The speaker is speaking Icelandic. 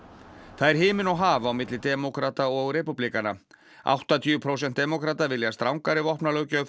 það er himinn og haf á milli demókrata og repúblikana áttatíu prósent demókrata vilja strangari